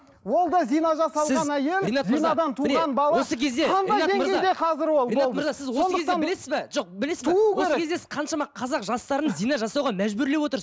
ол да зина жасалған әйел осы кезде сіз қаншама қазақ жастарын зина жасауға мәжбүрлеп отырсыз